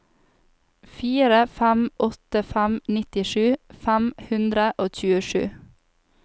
fire fem åtte fem nittisju fem hundre og tjuesju